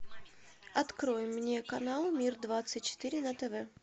открой мне канал мир двадцать четыре на тв